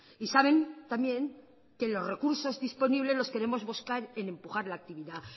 y saben también que los recursos disponibles los queremos buscar en empujar la actividad